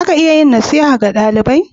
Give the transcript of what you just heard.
Za ka iya nasiha ga dalibai?